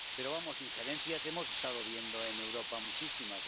Pero injerencias hemos estado viendo en Europa muchísimas.